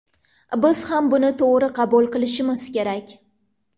Biz ham buni to‘g‘ri qabul qilishimiz kerak”.